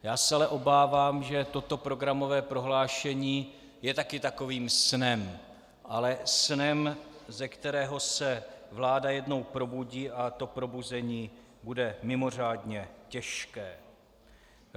Já se ale obávám, že toto programové prohlášení je také takovým snem, ale snem, ze kterého se vláda jednou probudí, a to probuzení bude mimořádně těžké.